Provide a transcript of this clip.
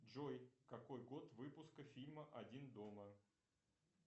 джой какой год выпуска фильма один дома